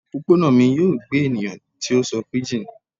Opopona mi yoo gbe eniyan ti o sọ pidgin